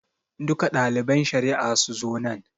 Duka ɗaliban shari'a su zo nan.